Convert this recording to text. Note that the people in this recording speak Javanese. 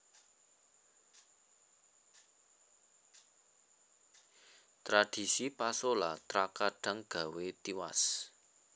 Tradhisi pasola trakadhang gawé tiwas